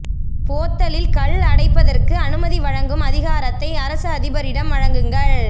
போத்தலில் கள் அடைப்பதற்கு அனுமதி வழங்கும் அதிகாரத்தை அரச அதிபரிடம் வழங்குங்கள்